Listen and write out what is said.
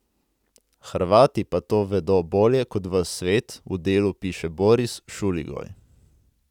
Hrvati pa to vedo bolje kot ves svet, v Delu piše Boris Šuligoj.